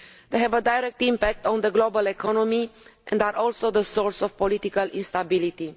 They have a direct impact on the global economy and are also the source of political instability.